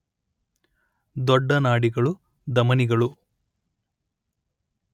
ದೊಡ್ಡ ನಾಡಿಗಳು ಧಮನಿಗಳು